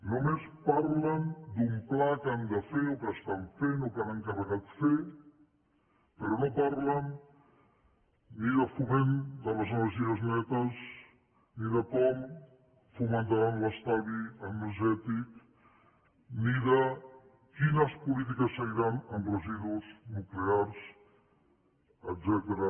només parlen d’un pla que han de fer o que estan fent o que han encarregat fer però no parlen ni de foment de les energies netes ni de com fomentaran l’estalvi energètic ni de quines polítiques seguiran en residus nuclears etcètera